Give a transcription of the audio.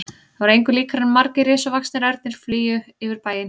Það var engu líkara en margir risavaxnir ernir flygju yfir bæinn.